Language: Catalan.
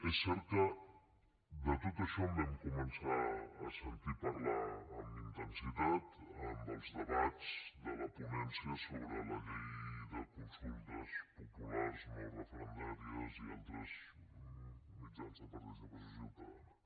és cert que de tot això en vam començar a sentir parlar amb intensitat amb els debats de la ponència sobre la llei de consultes populars no referendàries i altres mitjans de participació ciutadana